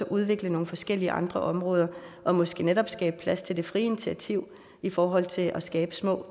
udvikle nogle forskellige andre områder og måske netop skabe plads til det frie initiativ i forhold til at skabe små